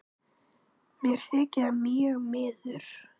Mér þykir það mjög miður.